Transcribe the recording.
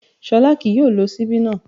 Ṣọlá kì yóò lo ṣíbí náà